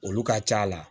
Olu ka c'a la